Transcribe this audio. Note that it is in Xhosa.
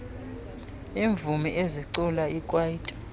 iimvumi ezicula ikwaito